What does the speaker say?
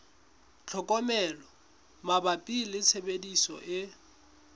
tlhokomelo mabapi le tshebediso e